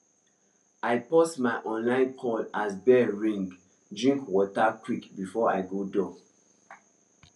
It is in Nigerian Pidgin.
i pause my online call as bell ring drink water quick before i go door